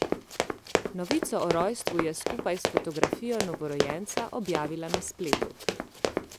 Novico o rojstvu je skupaj s fotografijo novorojenca objavila na spletu.